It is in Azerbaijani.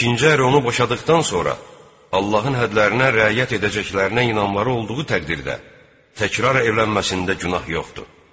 İkinci ər onu boşadıqdan sonra, Allahın hədlərinə riayət edəcəklərinə inanmaları olduğu təqdirdə təkrar evlənməsində günah yoxdur.